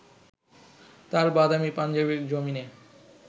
তাঁর বাদামি পাঞ্জাবির জমিনে